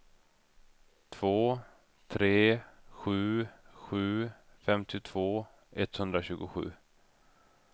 två tre sju sju femtiotvå etthundratjugosju